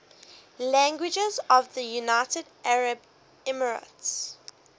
languages of the united arab emirates